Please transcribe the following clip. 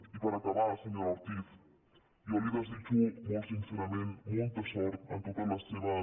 i per acabar senyora ortiz jo li desitjo molt since·rament molta sort en totes les seves